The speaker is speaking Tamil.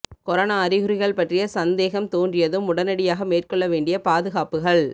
கொரோனா அறிகுறிகள் பற்றிய சந்தேகம் தோன்றியதும் உடனடியாக மேற்கொள்ள வேண்டிய பாதுகாப்புகள்